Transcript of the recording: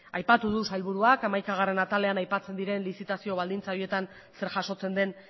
aipatu du sailburuak hamaikagarrena atalean aipatzen diren lizitazio baldintza horietan zer jasotzen den